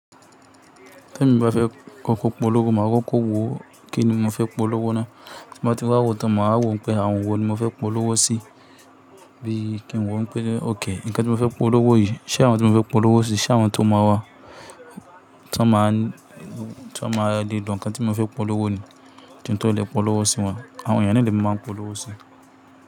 Tí èmi bá fẹ́ kóko polówó, màá kóko wo kíni mo fẹ́ polówó ná. Tí mo bá ti rí awo tán, màá wo pé àwọn wo ni mo fẹ́ polówó sí. Bí i kí n wo pé ók, nǹkan tí mo fẹ́ polówó yìí, ṣé àwọn tí mo fẹ́ polówó sí, ṣé àwọn tó máa wá, tí wọ́n ma tí wọ́n ma le lo nǹkan tí mo fẹ́ polówó ni tí n tó lè polówó sí wọn. Àwọn ènìyàn na le mi máa polówó sí.